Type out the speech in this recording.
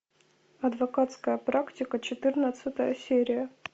адвокатская практика четырнадцатая серия